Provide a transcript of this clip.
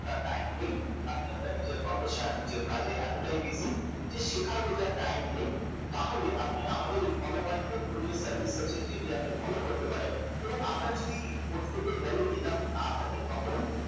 অতটা time নেই আপনি আপনার profession নিজের কাজে এতটাই busy যে শেখার বোঝার time নেই তাহলে আপনি আমাদেরই follow my portfolio service আছে যেটাকে আপনি follow করতে পারেন এবং আপনার যদি portfolio value enough না থাকে তখন